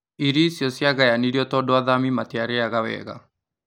Irio icio ciagayanirio tondũ athami matirarĩaga wega